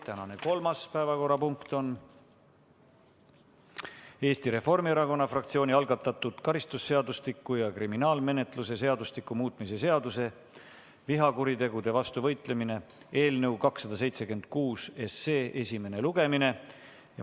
Tänane kolmas päevakorrapunkt on Eesti Reformierakonna fraktsiooni algatatud karistusseadustiku ja kriminaalmenetluse seadustiku muutmise seaduse eelnõu 276 esimene lugemine.